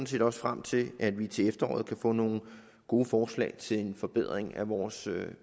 ser frem til at vi til efteråret kan få nogle gode forslag til en forbedring af vores